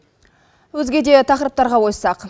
өзге де тақырыптарға ойыссақ